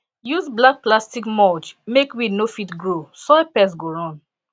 use black plastic mulch make weed no fit grow soil pest go run